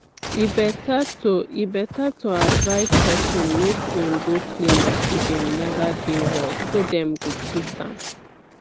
e better to e better to advise person make im go clinic if im neva dey well so dem go treat am